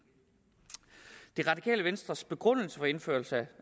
det radikale venstres begrundelse for indførelse